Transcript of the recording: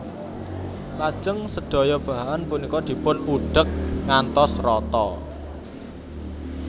Lajeng sedaya bahan punika dipun udhek ngantos rata